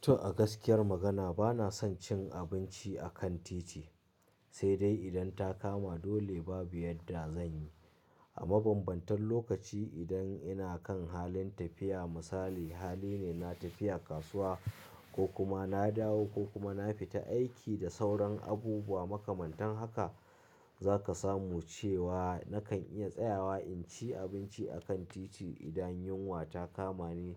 To a gaskiyar magana bana son cin abinci a kan titi, sai dai idan ta kama dole babu yadda zan yi. A mabambantan lokaci idan ina kan halin tafiya, misali hali ne na tafiya kasuwa ko kuma na dawo ko kuma na fita aiki da sauran abubuwa makamantan haka, zaka samu cewa nakan iya tsayawa in ci abinci a kan titi idan yunwa ta kama ni.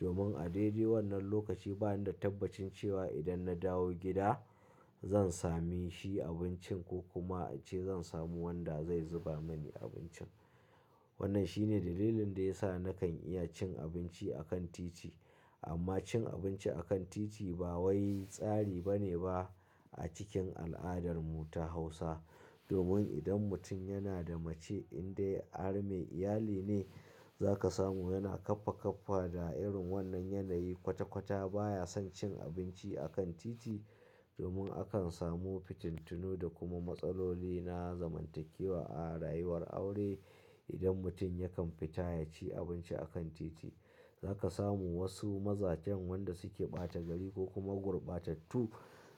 Domin a daidai wannan lokaci bana da tabbacin cewa idan na dawo gida zan sami shi abincin ko kuma ace zan samu wanda zai zuba mani abincin. Wannan shine dalilin da ya sa nakan iya cin abinci a kan titi. Amma cin abinci a kan titi ba wai tsari bane ba a cikin al'adarmu ta Hausa. Domin idan mutum yana da mace in dai har mai iyali ne zaka samu yana kaffa kaffa da irin wannan yanayi kwata kwata baya son cin abinci a kan titi. Domin akan samu fitintunu da kuma matsaloli na zamantakewa a rayuwar aure. Idan mutum yakan fita ya ci abinci a kan titi zaka samu wasu mazajen wanda suke ɓata gari ko kuma gurbata tu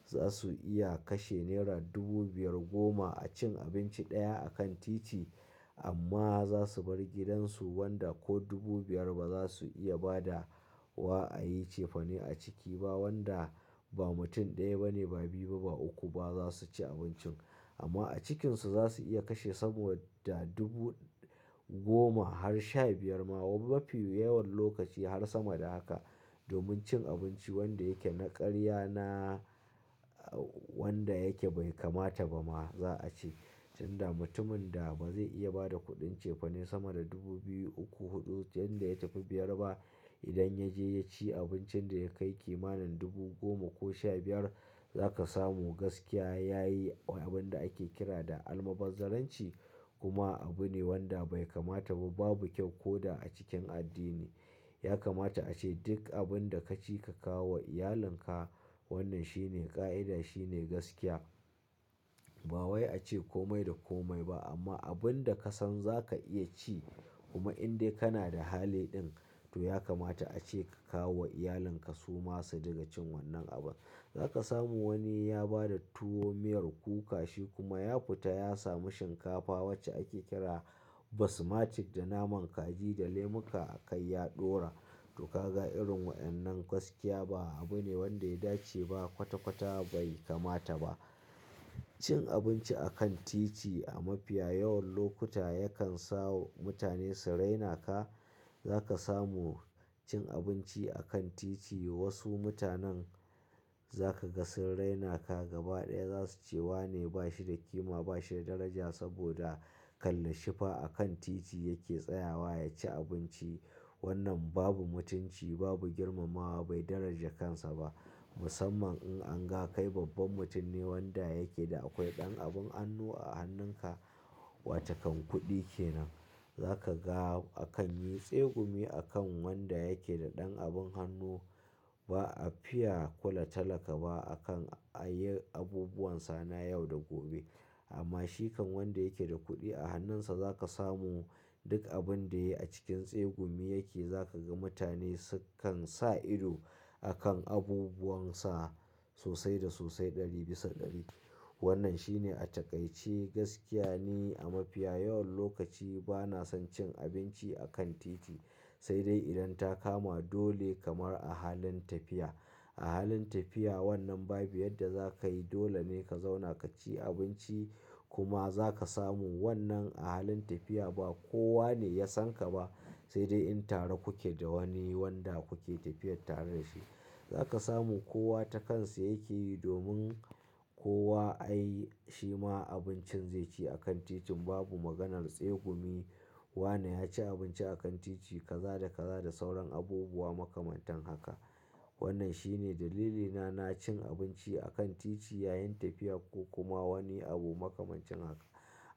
za su iya kashe nera dubu biyar goma a cin abinci ɗaya a kan titi. Amma za su bar gidansu wanda ko dubu biyar ba za su iya ba da wa a yi cefane a ciki ba wanda ba mutum ɗaya bane ba biyu ba uku ba za su ci abincin. Amma a cikinsu za su iya kashe sama da dubu goma har shabiyar ma mafi yawan lokaci har sama da haka domin cin abinci wanda yake na ƙarya na wanda yake bai kamata ba ma za a ce. Inda mutumin da ba zai iya ba da kuɗin cefane sama da dubu biyu, uku, huɗu, inda ya tafi biyar ba idan ya je ya ci abincin da ya kai kimanin dubu goma ko shabiyar za ka samu gaskiya ya yi abin da ake kira da almaɓazaranci. Kuma abu ne wanda bai kamata ba babu kyau ko da a cikin addini. Ya kamata a ce duk abin da ka ci ka kawo wa iyalinka. Wannan shine ƙa'ida shine gaskiya. Ba wai a ce komai da komai ba amma abun da ka san za ka iya ci kuma in dai kana da hali ɗin to ya kamata a ce ka kawo wa iyalinka su ma su riƙa cin wannan abun. Za ka samu wani ya ba da tuwo miyar kuka shi kuma ya fita ya samu shinkafa wacce ake kira basmatic da naman kaji da lemuka a kai ya ɗora. To kaga irin waɗannan gaskiya ba abu ne wanda ya dace ba kwata-kwata bai kamata ba. Cin abinci a kan titi a mafiya yawan lokuta yakan sa mutane su raina ka. Za ka samu cin abinci a kan titi wasu mutanen za ka ga sun raina ka gaba ɗaya za su cewa ne ba shi da kima ba shi da daraja saboda kalle shifa a kan titi yake tsayawa ya ci abinci. Wannan babu mutunci babu girmamawa bai daraja kansa ba. Musamman in anga kai babban mutum ne wanda yake da akwai ɗan abin hannu a hannunka wato kan kuɗi kenan. Za ka ga akan yi tsegumi akan wanda yake da ɗan abin hannu ba a fiya kula talaka ba a kan a yi abubuwan sana yau da gobe. Amma shikan wanda yake da kuɗi a hannunsa za ka samu duk abin da yayi acikin tsegumi yake za ka ga mutane sukan sa ido a kan abubuwansa sosai da sosai ɗari bisa ɗari. Wannan shine a taƙaice gaskiya ne a mafiya yawan lokaci bana son cin abinci a kan titi sai dai idan ta kama dole kamar a halin tafiya. A halin tafiya wannan babu yadda za ka yi dole ne ka zauna ka ci abinci kuma za ka samu wannan a halin tafiya ba kowa ne ya san ka ba sai dai in tare kuke da wani wanda kuke tafiyar tare da shi. Za ka samu kowa ta kansa yake yi domin kowa ai shi ma abincin zai ci a kan titin babu maganar tsegumi. Wane ya ci abinci a kan titi kaza da kaza da sauran abubuwa makamantan haka. Wannan shine dalilina na cin abinci a kan titi yayin tafiya ko kuma wani abu makamancin haka.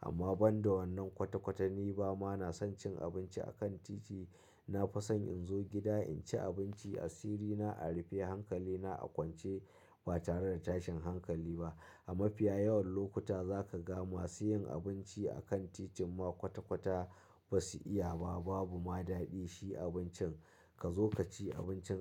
Amma ban da wannan kwata-kwata ni ba ma na son cin abinci a kan titi. Na fi son in zo gida in ci abinci a sirrina a rufe hankalina a kwance ba tare da tashin hankali ba. A mafiya yawan lokuta za ka ga masu yin abinci a kan titin ma kwata-kwata ba su iya ba babu ma daɗi shi abincin ka zo ka ci abincin.